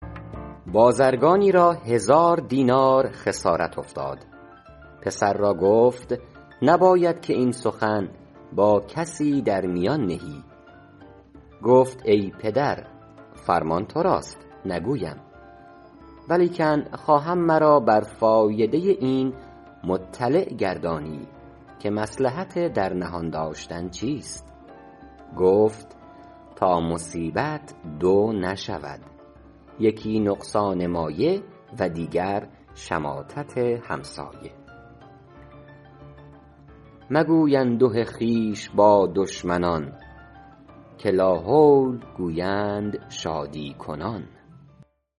بازرگانی را هزار دینار خسارت افتاد پسر را گفت نباید که این سخن با کسی در میان نهی گفت ای پدر فرمان تو راست نگویم ولکن خواهم مرا بر فایده این مطلع گردانی که مصلحت در نهان داشتن چیست گفت تا مصیبت دو نشود یکی نقصان مایه و دیگر شماتت همسایه مگوی انده خویش با دشمنان که لاحول گویند شادی کنان